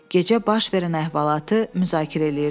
Gecə baş verən əhvalatı müzakirə eləyirdilər.